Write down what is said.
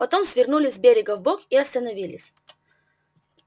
потом свернули с берега вбок и остановились